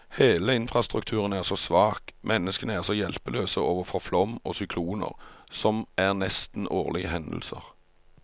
Hele infrastrukturen er så svak, menneskene er så hjelpeløse overfor flom og sykloner, som er nesten årlige hendelser.